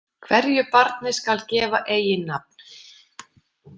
Hverju barni skal gefa eiginnafn.